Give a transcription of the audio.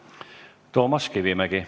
Toomas Kivimägi.